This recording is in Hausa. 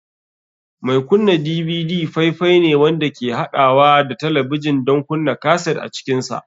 Mai kunna DVD faifai ne wanda ke haɗawa da talabijin don kunna kaset a cikinsa.